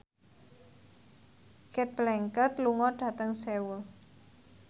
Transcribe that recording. Cate Blanchett lunga dhateng Seoul